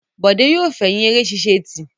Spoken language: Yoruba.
Bọ̀dé yóò fẹ̀yìn eré ṣíṣe tì.